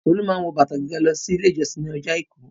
Tolú máa ń wọ bàtà gíga lọ Ilé-ìjọsìn ní ọjọ́ àìkú.